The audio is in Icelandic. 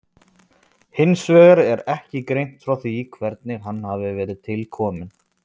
Hins vegar er ekki greint frá því hvernig hann hafi verið til kominn.